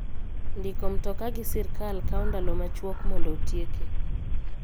Ndiko mtoka gi sirkal kawo ndalo machwok mondo otieke.